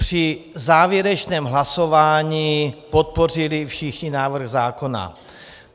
Při závěrečném hlasování podpořili všichni návrh zákona.